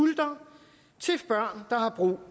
hårdt og